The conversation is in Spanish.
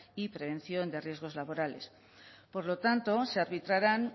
y prevención de riesgos laborales por lo tanto se arbitrarán